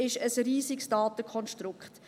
Es ist ein riesiges Datenkonstrukt.